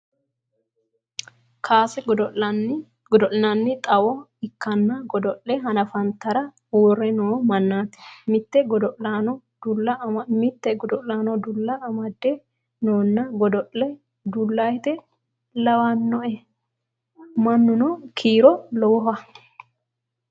Kaase godo'linanni xawo ikkanna godo'le hanafantara uurre no mannaati. Mite godo'laano dulla amadde noona godo'le dulluyite lawinoe. mannuno kiiro lowoha.